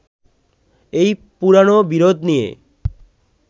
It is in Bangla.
এই পুরোনো বিরোধ নিয়ে